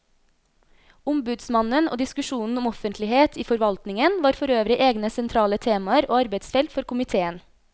Ombudsmannen og diskusjonen om offentlighet i forvaltningen var forøvrig egne sentrale temaer og arbeidsfelt for komiteen.